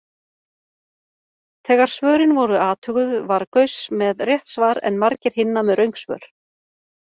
Þegar svörin voru athuguð var Gauss með rétt svar en margir hinna með röng svör.